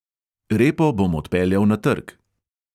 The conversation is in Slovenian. Repo bom odpeljal na trg.